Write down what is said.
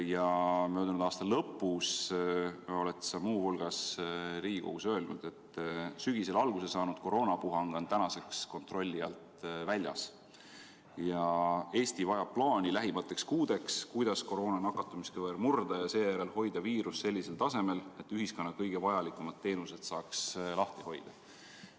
Ja möödunud aasta lõpus oled sa muu hulgas Riigikogus öelnud, et sügisel alguse saanud koroonapuhang on tänaseks kontrolli alt väljas ja Eesti vajab lähimateks kuudeks plaani, kuidas koroona nakatumiskõver murda ja seejärel hoida viirus sellisel tasemel, et ühiskonna kõige vajalikumad teenused saaks lahti hoida.